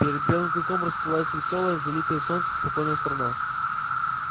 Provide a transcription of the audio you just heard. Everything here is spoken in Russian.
перед белым клыком расстилалась весёлая залитая солнцем спокойная страна